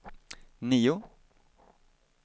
nio